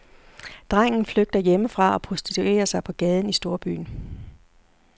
Drengen flygter hjemmefra og prostituerer sig på gaden i storbyen.